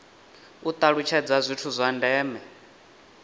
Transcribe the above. u talutshedza zwithu zwa ndeme